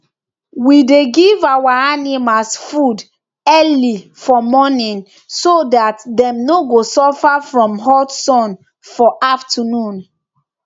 we dey give our animals food early for morning so that dem no go suffer from hot sun for afternoon